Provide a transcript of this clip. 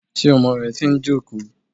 Ṣé ọmọ rẹ ti ń jókòó.